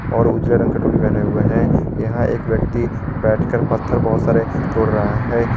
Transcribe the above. और उजले रंग का टोपी पहने हुए हैं यहां एक व्यक्ति बैठकर पत्थर बहुत सारा तोड़ रहा है।